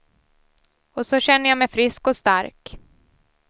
Och så känner jag mig frisk och stark.